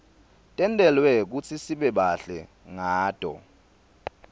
tentelwe kutsi sibe bahle ngato